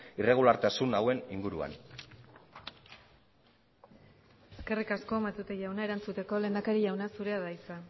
irregulartasun hauen inguruan eskerrik asko matute jauna erantzuteko lehendakari jauna zurea da hitza